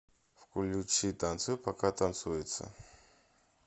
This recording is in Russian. включи танцуй пока танцуется